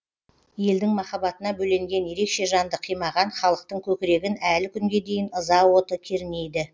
елдің махаббатына бөленген ерекше жанды қимаған халықтың көкірегін әлі күнге дейін ыза оты кернейді